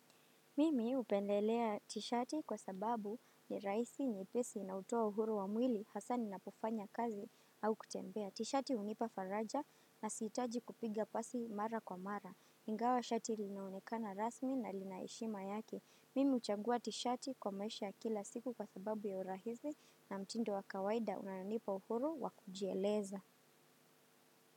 Mimi upendelea t-shati kwa sababu ni raisi nyepesi na utoa uhuru wa mwili hasa ninapofanya kazi au kutembea. T-shati unipa faraja na siitaji kupiga pasi mara kwa mara. Ingawa t-shati linaonekana rasmi na linaeshima yake. Mimi uchangua t-shati kwa maisha kila siku kwa sababu ya urahisi na mtindo wa kawaida unaonipa uhuru wa kujieleza.